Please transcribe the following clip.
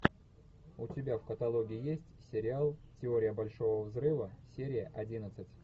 у тебя в каталоге есть сериал теория большого взрыва серия одиннадцать